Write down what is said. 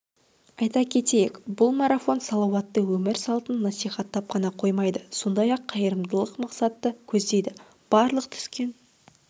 айта кетейік бұл марафон салауатты өмір салтын насихаттап қана қоймайды сондай-ақ қайырымдылық мақсатты көздейді барлық түскен